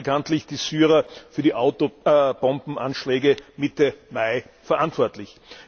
Viele machen bekanntlich die Syrer für die Autobombenanschläge Mitte Mai verantwortlich.